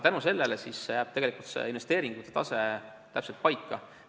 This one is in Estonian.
Tänu sellele jääb investeeringute tase täpselt paika.